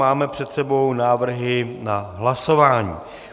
Máme před sebou návrhy na hlasování.